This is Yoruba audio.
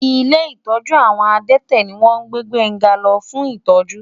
Ilé ìtọ́jú àwọn adẹ́tẹ̀ ni wọ́n gbé Gbénga lọ fún ìtọ́jú.